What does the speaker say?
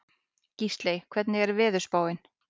Gísley, hvernig er veðurspáin?